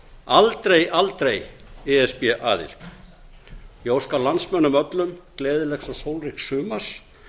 aldrei aldrei e s b aðild ég óska landsmönnum öllum gleðilegs og sólríks sumars